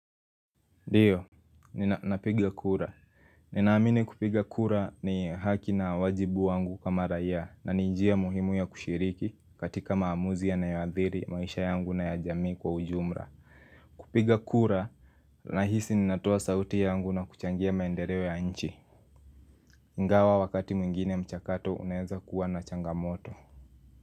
Ndiyo, ninapiga kura. Ninaamini kupiga kura ni haki na wajibu wangu kama raia na ni njia muhimu ya kushiriki katika maamuzi yanayoadhiri maisha yangu na ya jamii kwa ujumla. Kupiga kura, nahisi ninatoa sauti yangu na kuchangia maendeleo ya nchi. Ingawa wakati mwingine mchakato, unaeza kuwa na changamoto.